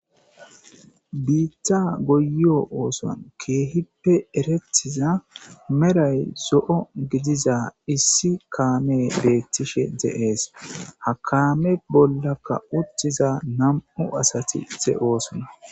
Buitta goynno ossuwan keehippe eretiza medhay Soho gidiza issi kaame betishshe de'es. Ha kamme bollakka uttiza nam'u asatti de'ossona.